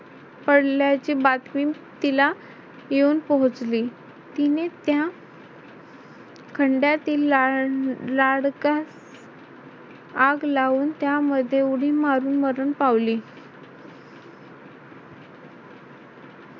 पडल्याची बातमी तिला येऊन पोहोचली तिने त्या खंडातील ला अह लाडक्यास आग लावून त्यामध्ये उडी मारून मरण पावली.